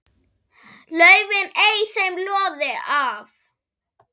laufin ei þeim loði á.